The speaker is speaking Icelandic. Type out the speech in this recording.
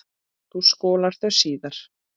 Þú skolar þau síðar.